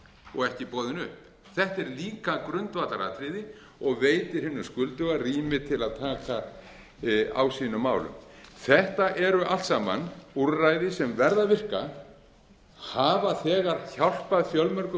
og ekki boðin upp þetta er líka grundvallaratriði og veitir hinum skulduga rými til að taka á sínum málum þetta eru allt saman úrræði sem verða að virka hafa þegar hjálpað fjölmörgu